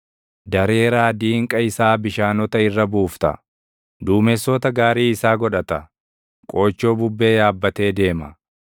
Dareeraa diinqa isaa bishaanota irra buufta. Duumessoota gaarii isaa godhata; qoochoo bubbee yaabbattee deema.